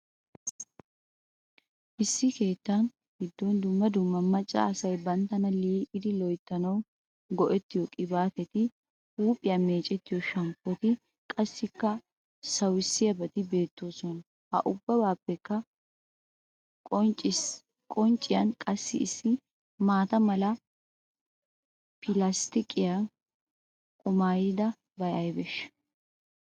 Issi keetta giddon dumma dumma macca asay banttana lil'idi loyttanawu go'ettiyo qibaatetti, huuphphiya meccettiyo shamppotti, qassikka sawissiyabaati beetteesona. Ha ubbappekka qoncciyan qassi issi maata mala pilastiqiyan kumidabay aybeeshsha?